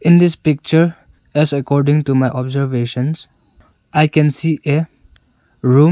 in this picture as according to my observations I can see a room.